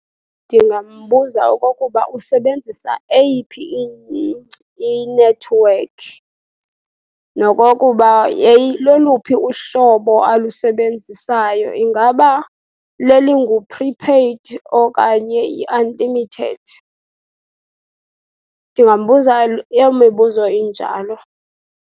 Ndingambuza okokuba usebenzisa eyiphi inethiwekhi nokokuba loluphi uhlobo alusebenzisayo, ingaba lelingu-prepaid okanye i-unlimited? Ndingambuza loo mibuzo injalo.